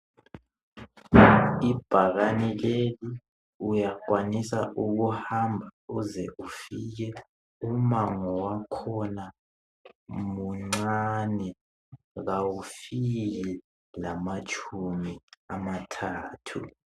Ibhakane leli uyakwanisa ukuhamba uze ufike umango wakhona muncane kawufiki lamatshumi amathathu